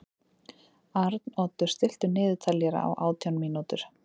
Arnoddur, stilltu niðurteljara á átján mínútur.